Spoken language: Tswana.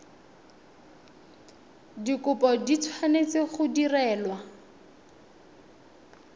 dikopo di tshwanetse go direlwa